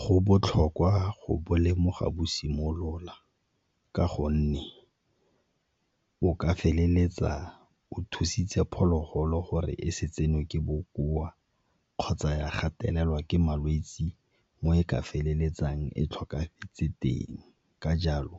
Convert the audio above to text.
Go botlhokwa go bo lemoga bo simolola ka gonne o ka feleletsa o thusitse phologolo gore e se tsenwe ke bokoa kgotsa ya gatelelwa ke malwetse mo e ka feleletsang e tlhokafetse teng. Ka jalo